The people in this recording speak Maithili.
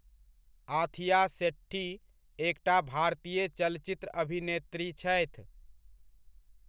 आथिया शेट्टी एकटा भारतीय चलचित्र अभिनेत्री छथि।